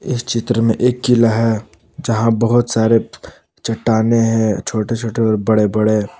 इस चित्र में एक किला है यहां बहुत सारे चट्टानें हैं छोटे छोटे और बड़े बड़े।